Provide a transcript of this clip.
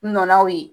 Nɔnɔw ye